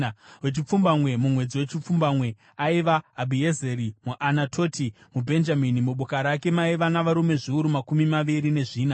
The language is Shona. Wechipfumbamwe, mumwedzi wechipfumbamwe, aiva Abhiezeri muAnatoti, muBhenjamini. Muboka rake maiva navarume zviuru makumi maviri nezvina.